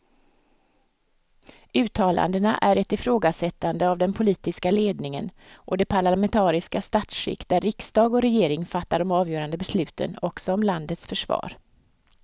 Uttalandena är ett ifrågasättande av den politiska ledningen och det parlamentariska statsskick där riksdag och regering fattar de avgörande besluten också om landets försvar.